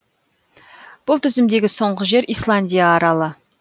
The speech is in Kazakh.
бұл тізімдегі соңғы жер исландия аралы